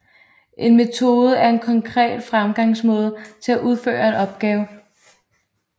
En metode er en konkret fremgangsmåde til at udføre en opgave